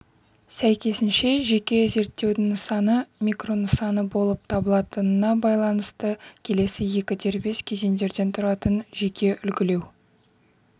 сәйкесінше жеке зерттеудің нысаны микро нысаны болып табылатынына байланысты келесі екі дербес кезеңдерден тұратын жеке үлгілеу